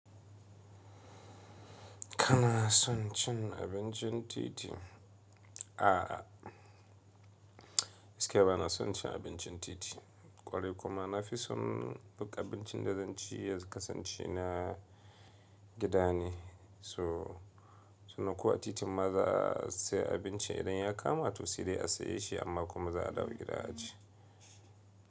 Kana son cin abincin titi? A'a, gaskiya ba na son cin abincin titi, ƙwarai kuma na fi son buga abincin da zan ci yanzu ka sance na gidane. So, suna ko a titin maza sai abinci idan ya kama to sai dai a saye shi amma kuma za a dawo gida aci.